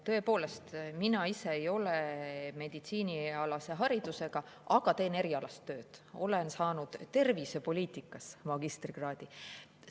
Tõepoolest, mina ise ei ole meditsiiniharidusega, aga teen erialast tööd, olen saanud tervisepoliitikas magistrikraadi.